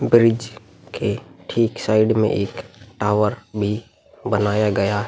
bridge के ठीक side मे एक टावर भी बनाया गया --